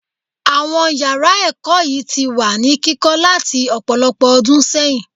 Àwọn yàrá ẹ̀kọ́ yìí ti wà ní kíkọ́ láti ọ̀pọ̀lọpọ̀ ọdún sẹ́yìn.